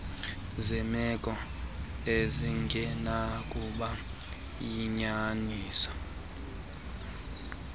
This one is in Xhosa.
zeemeko ezingenakuba yinyaniso